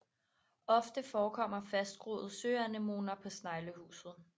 Ofte forekommer fastgroede søanemoner på sneglehuset